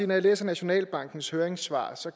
når jeg læser nationalbankens høringssvar